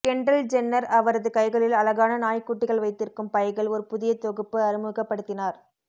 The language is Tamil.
கெண்டல் ஜென்னர் அவரது கைகளில் அழகான நாய்க்குட்டிகள் வைத்திருக்கும் பைகள் ஒரு புதிய தொகுப்பு அறிமுகப்படுத்தினார்